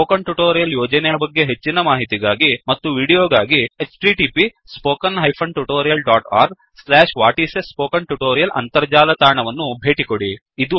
spoken tutorial ಯೋಜನೆಯ ಬಗ್ಗೆ ಹೆಚ್ಚಿನ ಮಾಹಿತಿಗಾಗಿ ಮತ್ತು ವೀಡಿಯೋಗಾಗಿ 1 ಅಂತರ್ಜಾಲ ತಾಣವನ್ನು ಭೇಟಿಕೊಡಿ